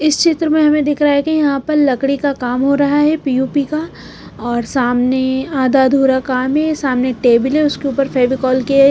इस चित्र में हमें दिख रहा है कि यहां पर लकड़ी का काम हो रहा है पी_ओ_पी का और सामने आधा अधूरा काम है सामने टेबल है उसके ऊपर फेविकोल के--